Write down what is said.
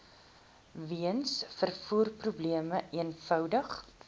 weens vervoerprobleme eenvoudig